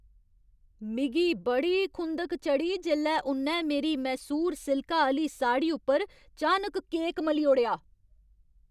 मिगी बड़ी खुंधक चढ़ी जेल्लै उ'न्नै मेरी मैसूर सिल्का आह्‌ली साड़ी उप्पर चानक केक मली ओड़ेआ।